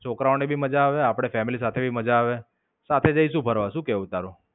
છોકરાઓને ભી માજા આવે આપડી ફેમિલીને ભી માજા આવે. સાથે જઈશું ફરવા શું કેવું તારું?